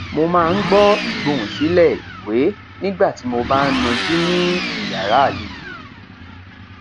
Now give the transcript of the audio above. mo máa ń gbọ ìgbohùn sílẹ ìwé nígbà tí mo bá ń najú ní yàrá àlejò